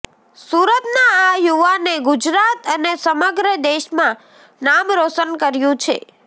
સુરતના આ યુવાને ગુજરાત અને સમગ્ર દેશમાં નામ રોશન કર્યું છે